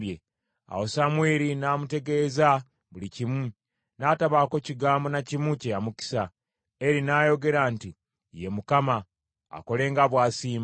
Awo Samwiri n’amutegeeza buli kimu, n’atabaako kigambo na kimu kye yamukisa. Eri n’ayogera nti, “Ye Mukama , akole nga bw’asiima.”